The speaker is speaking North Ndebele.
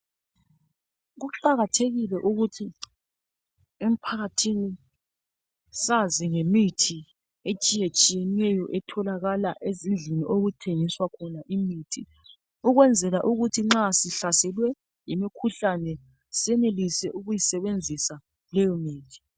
Kuqakathekile ukuthi emphakathini sazi ngemithi etshiyetshiyeneyo etholakala ezindlini okuthengiswa khona imithi, ukwenzela ukuthi nxa sihlaselwe yimkhuhlane senelise ukuyisebenzisa leyo mithi.